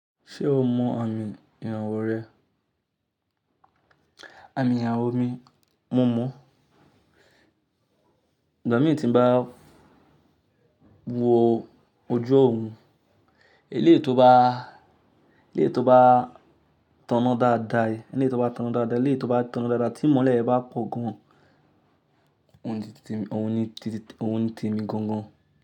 Ṣé o mọ àmì ìrànwọ́ rẹ? Àmì ìrànwọ́ mi, mo mọ̀. Igba mi tí n bá wo ojú ọ̀run, eléyìí tó bá, eléyìí tó bá tanná dáadáa, eléyìí tó bá tanná dáadáa, eléyìí tó bá tanná dáadáa tí ìmọ́lẹ̀ bá pọ̀ gan-an, òun ni ti mi, òun ni ti mi gan-an.